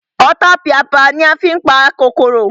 Ọ̀tapìàpìà ni a fí n pa kòkòrò